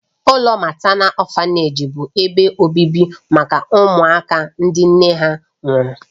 Ụlọ matánal ọ̀fanèji bụ ebe obibi maka ụmụaka ndị nne ha nwụrụ.